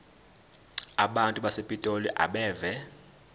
abantu basepitoli abeve